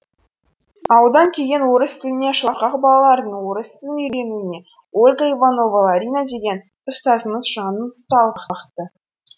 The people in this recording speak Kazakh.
ауылдан келген орыс тіліне шорқақ балалардың орыс тілін үйренуіне ольга иванова ларина деген ұстазымыз жанын салып бақты